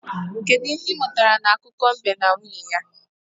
Kedụ ihe ị mụtara n'akụkọ mbe na nwunye ya?